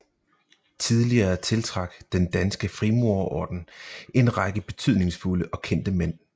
Tidligere tiltrak Den Danske Frimurerorden en række betydningsfulde og kendte mænd